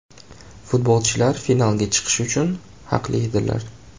Futbolchilar finalga chiqish uchun haqli edilar.